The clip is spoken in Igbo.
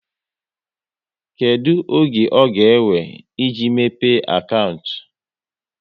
Kedụ oge ọ ga ewe, e ji mepe akantị?